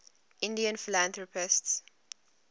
indian philanthropists